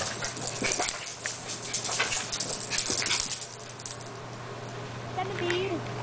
Tanveer.